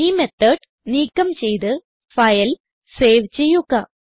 ഈ മെത്തോട് നീക്കം ചെയ്ത് ഫയൽ സേവ് ചെയ്യുക